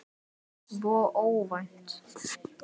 Svo óvænt.